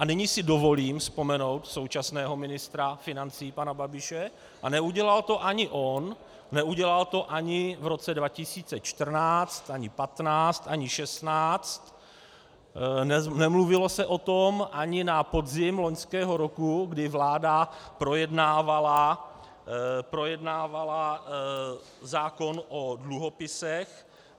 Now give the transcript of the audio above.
A nyní si dovolím vzpomenout současného ministra financí pana Babiše, a neudělal to ani on, neudělal to ani v roce 2014, ani 2015, ani 2016, nemluvilo se o tom ani na podzim loňského roku, kdy vláda projednávala zákon o dluhopisech.